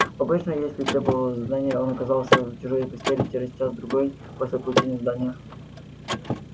обычно если требовало задание он оказывался в чужой постели через час-другой после получения задания